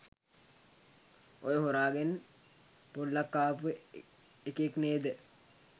ඔය හොරාගෙන් පොල්ලක් කාපු එකෙක් නේද?